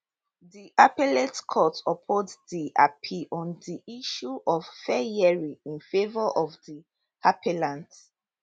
di appellate court uphold di appeal on di issue of fair hearing in favour of di appellant